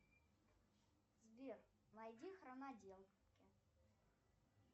сбер найди хроноделки